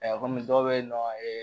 kɔmi dɔw bɛ yen nɔ